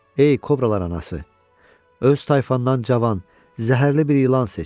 Ey Kobralar anası, öz tayfandan cavan, zəhərli bir ilan seç.